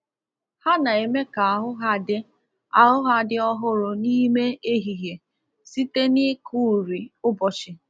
Ha na-eme ka ahu ha dị ahu ha dị ọhụrụ n’ime ehihie site n’ịkụ uri ụbọchị.